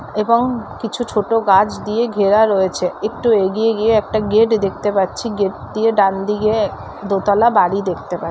এবং কিছু ছোট গাছ দিয়ে ঘেরা রয়েছে একটু এগিয়ে গিয়ে একটা গেট দেখতে পাচ্ছি গেট দিয়ে ডানদিকে দোতলা বাড়ি দেখতে পা--